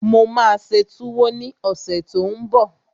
Mo máa ṣe túwó ní ọ̀sẹ̀ tó n bọ̀